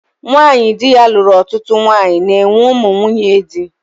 Nwanyị dị ya lụrụ ọtụtụ nwanyị na-enwe ụmụ nwunye di